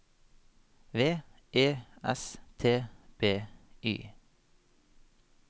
V E S T B Y